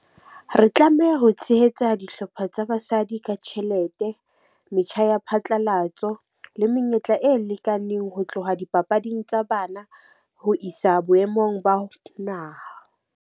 Re tlameha ho tshehetsa dihlopha tsa basadi ka tjhelete, metjha ya phatlalatso le menyetla e lekaneng ho tloha dipapading tsa bana, ho isa boemong ba naha.